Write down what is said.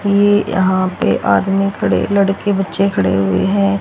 ये यहां पे आदमी खड़े लड़के बच्चे खड़े हुए हैं।